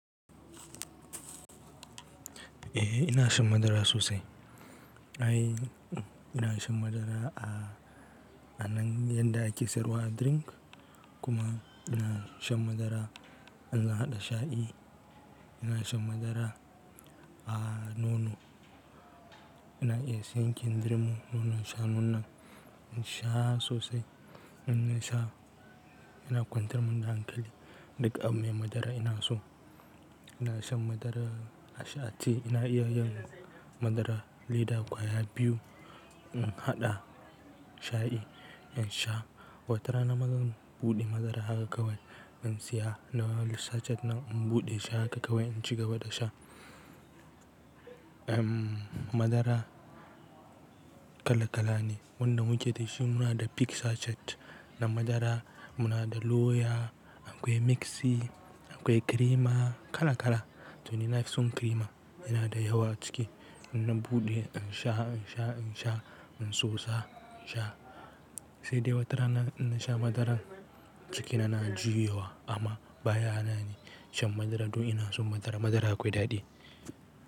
Eh ina shan madara sosai. Ai ina shan madara a, a nan yanda ake siyarw a drink kuma ina shan madara in zan haɗa sha'i. Ina shan madara a nono. Ina iya siyan kindirmo mu nonon shanuna in sha sosai. In na sha ina kwantar mun da hankali dak abin mai madara ina so. Ina shan madara a sha a tea ina iya yin madara leda kwaya biyu in haɗa sha'i in sha. Wata rana ma zan buɗe madara haka kawai in siya lawal sachet nan in buɗe shi haka kawai in ci gaba da sha. Em, madara kala kala ne wanda muke da shi muna da peak sachet na madara, muna da loyal, akwai mixi, akwai kirima kala kala. To ni na fi son kirima yana da yawa ciki ina buɗe in sha, in sha, in sha, in tsotsa in sha. Sai dai wata ranar, na sha madaran ciki na na juyawa amma baya hana ni shan madara domin ina son madara. Madara akwai daɗi.